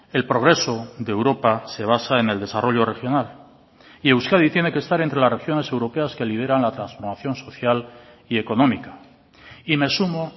el progreso de europa se basa en el desarrollo regional y euskadi tiene que estar entre las regiones europeas que lideran la transformación social y económica y me sumo